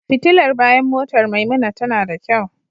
Fitilar bayan motar Maimuna tana da kyau.